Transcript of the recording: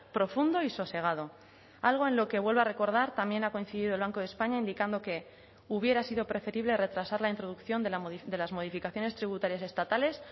profundo y sosegado algo en lo que vuelvo a recordar también ha coincidido el banco de españa indicando que hubiera sido preferible retrasar la introducción de las modificaciones tributarias estatales